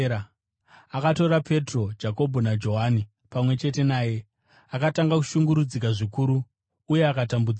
Akatora Petro, Jakobho naJohani pamwe chete naye, akatanga kushungurudzika zvikuru uye akatambudzika.